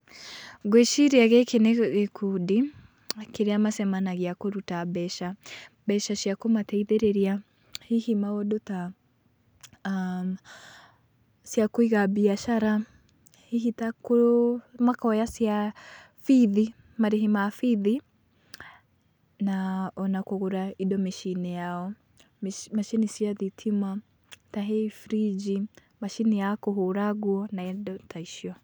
Gwĩciria gĩkĩ nĩ gĩkundi kĩrĩa macemanagia kũruta mbeca, mbeca cia kũmateithĩrĩria hihi maũndũ ta ciakũiha biacara, hihi ta makoya cia bithi, marĩhi ma bithi na ona kũgũra indo mĩcinĩ yao, macini cia thitima tahihi friji, macini ya kũhũra nguo na hihi indo ta icio .